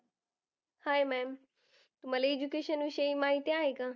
Hi ma'am तुम्हाला education विषयी माहिती आहे का?